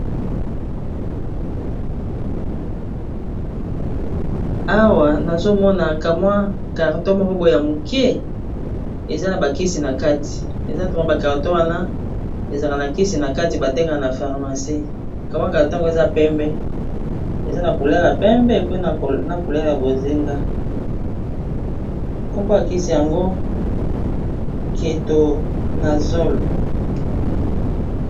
Awa nazomona kamwa carton moko boya moke eza na bakisi na kati eza toma bacarto wana ezalka na kisi na kati batekaa na parmace kamwa catango eza pembe eza na kulela pembe pe na kulela bozenga kombo bakisi yango keto na zol